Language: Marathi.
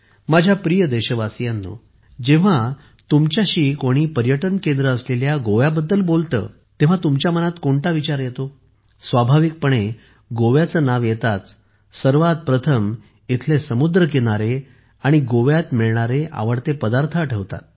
माझ्या प्रिय देशवासीयांनो जेव्हा तुमच्याशी कोणी पर्यटन केंद्र असलेल्या गोव्याबद्दल बोलते तेव्हा तुमच्या मनात कोणता विचार येतो स्वाभाविकपणे गोव्याचे नाव येताच सर्वात प्रथम इथली सुंदर किनारपट्टी समुद्रकिनारे आणि गोव्यात मिळणारे आवडते पदार्थ आठवतात